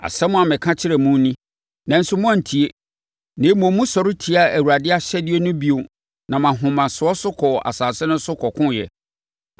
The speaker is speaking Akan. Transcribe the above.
Asɛm a meka kyerɛɛ mo ni, nanso moantie. Na mmom, mosɔre tiaa Awurade ahyɛdeɛ no bio nam ahomasoɔ so kɔɔ asase no so kɔkoeɛ.